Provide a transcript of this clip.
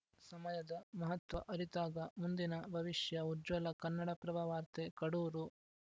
ಸಮಯದ ಮಹತ್ವ ಅರಿತಾಗ ಮುಂದಿನ ಭವಿಷ್ಯ ಉಜ್ವಲ ಕನ್ನಡಪ್ರಭ ವಾರ್ತೆ ಕಡೂರು